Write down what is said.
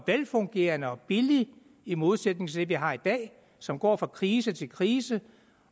velfungerende og billig i modsætning til det vi har i dag som går fra krise til krise